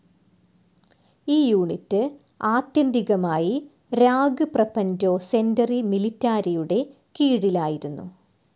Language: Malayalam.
ഈ യൂണിറ്റ്‌ ആത്യന്തികമായി രാഗ്ഗ്പ്രപന്റോ സെന്ററി മിലിറ്റാരിയുടെ കീഴിലായിരുന്നു.